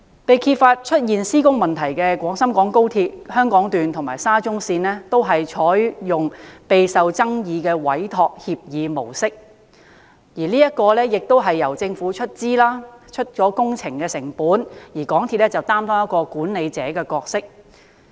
被揭發出現施工問題的廣深港高鐵香港段和沙中線，均採用備受爭議的委託協議模式，即由政府出資負責所有工程成本，而港鐵公司則擔當管理者的角色。